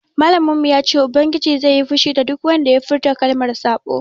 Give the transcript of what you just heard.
Malamin mu ya ce ubangiji zai yi fushi da duk wanda ya furta kalmar saɓo